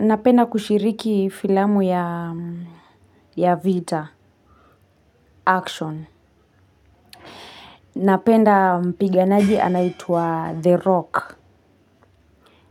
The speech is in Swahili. Napenda kushiriki filamu ya Vita, Action. Napenda mpiganaji anaitwa The Rock.